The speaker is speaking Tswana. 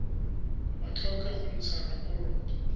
ba tlhoke go ntsha raporoto